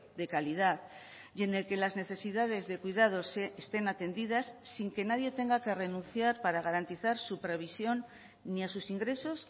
de calidad y en el que las necesidades de cuidados estén atendidas sin que nadie tenga que renunciar para garantizar su previsión ni a sus ingresos